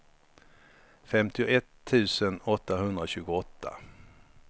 femtioett tusen åttahundratjugoåtta